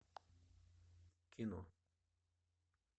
кино